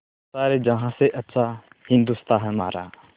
सारे जहाँ से अच्छा हिन्दोसिताँ हमारा